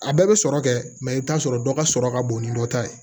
A bɛɛ bɛ sɔrɔ kɛ i bɛ t'a sɔrɔ dɔ ka sɔrɔ ka bon ni dɔ ta ye